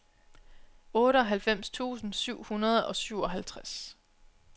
otteoghalvfems tusind syv hundrede og syvoghalvtreds